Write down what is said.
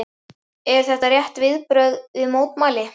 Eru þetta rétt viðbrögð við mótlæti?